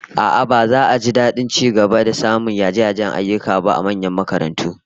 A'a, baza a ji dadin ci gaba da samun yaje-yajen ayyuka ba a manyan makarantu